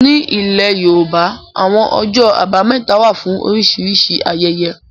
Ní ilẹ̀ yóòbá, àwọn ọjọ́ àbámẹ́ta wà fún oríṣìíríṣìí ayẹyẹ